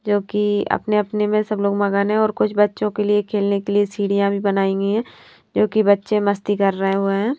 जो कि अपने-अपने में सब लोग मगन हैं और कुछ बच्चों के लिए खेलने के लिए सीढ़ियाँ भी बनाई गई हैं जोकि बच्चे मस्ती कर रहे हुए हैं।